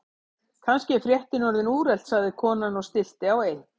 Kannski er fréttin orðin úrelt sagði konan og stillti á eitt.